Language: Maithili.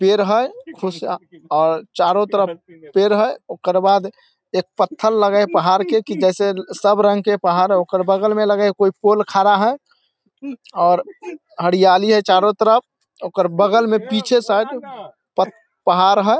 पेड़ हेय खुश अ चारो तरफ पेड़ हेय ओकर बाद एक पत्थल लगे हेय पहाड़ के की जैसे सब रंग के पहाड़ हेय ओकर बगल मे लगे हेय कोई पोल खड़ा हेय और हरियाली हेय चारों तरफ ओकर बगल में पीछे साइड पत पहाड़ हेय।